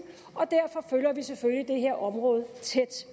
og derfor følger vi selvfølgelig det her område tæt